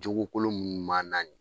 jogokolon minnu m'an na nin .